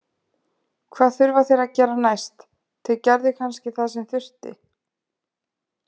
Hvað þurfa þeir að gera næst: Þeir gerðu kannski það sem þurfti.